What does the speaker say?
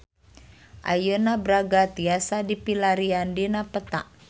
Ayeuna Braga tiasa dipilarian dina peta